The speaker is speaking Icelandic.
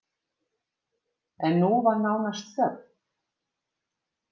En nú var nánast þögn!